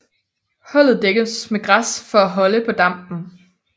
Hulet dækkes med græs for at holde på dampen